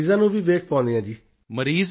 ਮਰੀਜ਼ਾਂ ਨੂੰ ਵੀ ਵੇਖ ਪਾਉਂਦੇ ਹਾਂ ਜੀਜੀ